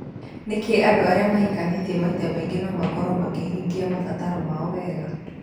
Ningĩ andũ arĩa mahikanĩtie maita maingĩ no makorũo makĩhingia mabataro mao wega".